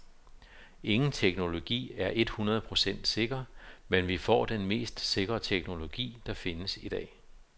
Ingen teknologi er et hundrede procent sikker, men vi får den mest sikre teknologi, der findes i dag.